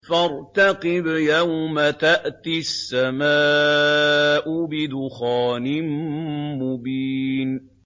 فَارْتَقِبْ يَوْمَ تَأْتِي السَّمَاءُ بِدُخَانٍ مُّبِينٍ